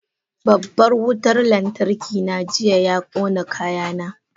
Babban wutar lantarki na jiya ya kona kayana.